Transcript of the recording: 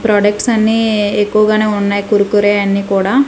products అన్నీ ఎక్కువగానే ఉన్నాయి కుర్ కురే అన్ని కూడా--